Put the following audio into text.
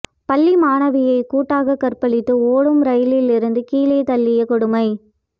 பள்ளி மாணவியை கூட்டாக கற்பழித்து ஓடும் ரெயிலில் இருந்து கீழே தள்ளிய கொடுமை